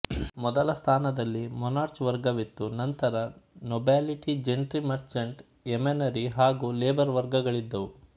ಮೊದಲ ಸ್ಥಾನದಲ್ಲಿ ಮೊನರ್ಚ್ ವರ್ಗವಿತ್ತು ನಂತರ ನೊಬೆಲಿಟಿಜೆನ್ಟ್ರೀಮರ್ಚ್ಂಟ್ ಯೆಮನರಿ ಹಾಗೂ ಲೆಬರ್ ವರ್ಗಗಳಿದ್ದವು